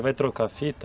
Ele vai trocar a fita